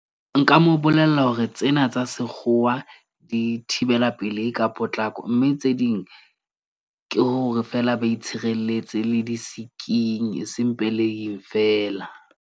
Nka mo bolella hore tsena tsa sekgowa di thibela pelehi ka potlako, mme tse ding ke hore, feela ba itshirelletse le di-sick-ing, eseng pelehing feela.